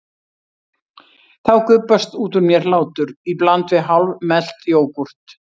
Þá gubbast út úr mér hlátur í bland við hálfmelt jógúrt.